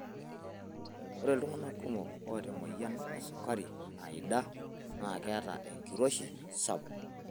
Ore iltungana kumok oota emoyian esukari naida naa keeta enkiroshi sapuk.